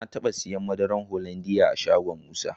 Na taba siyan madarar Hollandia a shagon Musa.